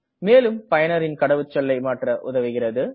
மேலும் பயனரின் கடவுச்சொல்லை மாற்ற உதவுகிறது